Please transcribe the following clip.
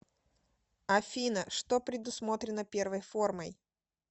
афина что предусмотрено первой формой